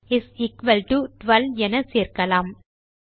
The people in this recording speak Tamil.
இஸ் எக்குவல் டோ 12 என சேர்க்கலாம்